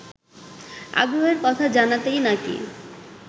আগ্রহের কথা জানাতেই নাকি